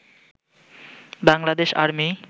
Bangladesh army